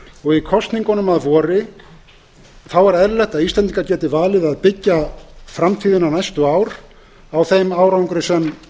og í kosningunum að vori er eðlilegt að íslendingar geti valið að byggja framtíðina næstu ár á þeim árangri sem nú